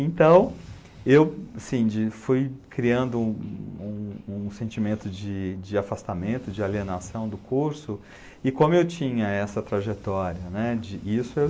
Então, eu assim, fui criando um sentimento de afastamento, de alienação do curso e como eu tinha essa trajetória, né de inicio